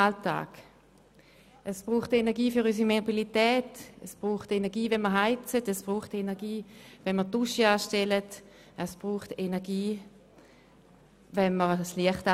Es braucht Energie für unsere Mobilität, unsere Heizung, die Dusche oder unser Licht.